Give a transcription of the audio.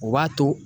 O b'a to